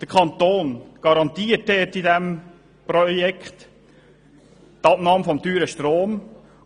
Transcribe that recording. Der Kanton garantiert im Rahmen dieses Projekts die Abnahme dieses teuren Stroms.